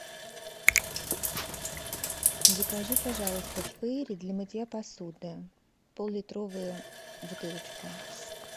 закажи пожалуйста фейри для мытья посуды поллитровую бутылочку